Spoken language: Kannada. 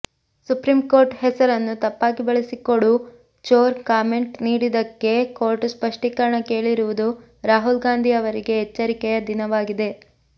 ಸುಪ್ರೀಂಕೋರ್ಟ್ ಹೆಸರನ್ನು ತಪ್ಪಾಗಿ ಬಳಸಿಕೊಡು ಚೋರ್ ಕಾಮೆಂಟ್ ನೀಡಿದ್ದಕ್ಕೆ ಕೋರ್ಟ್ ಸ್ಪಷ್ಟೀಕರಣ ಕೇಳಿರುವುದು ರಾಹುಲ್ ಗಾಂಧಿ ಅವರಿಗೆ ಎಚ್ಚರಿಕೆಯ ದಿನವಾಗಿದೆ